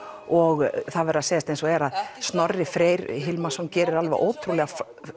og það verður að segjast eins og er að Snorri Freyr Hilmarsson gerir alveg ótrúlega